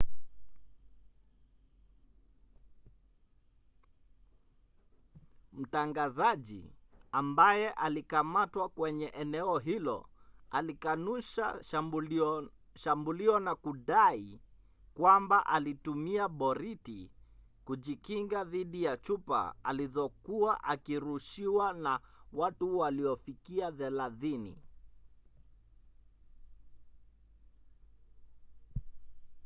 mtangazaji ambaye alikamatwa kwenye eneo hilo alikanusha shambulio na kudai kwamba alitumia boriti kujikinga dhidi ya chupa alizokuwa akirushiwa na watu waliofikia thelathini